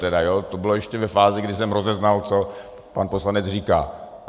To bylo ještě ve fázi, kdy jsem rozeznal, co pan poslanec říká.